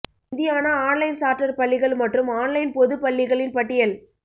Indiana online charter பள்ளிகள் மற்றும் online பொது பள்ளிகளின் பட்டியல்